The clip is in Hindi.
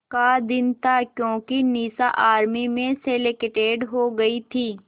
का दिन था क्योंकि निशा आर्मी में सेलेक्टेड हो गई थी